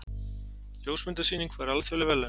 Ljósmyndasýning fær alþjóðleg verðlaun